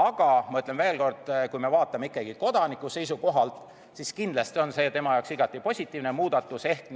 Aga ma ütlen veel kord, et kui me vaatame kodaniku seisukohalt, siis kindlasti on see tema jaoks igati positiivne muudatus ehk